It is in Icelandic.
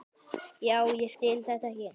Já, ég skil þetta ekki.